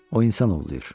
O insan ovlayır.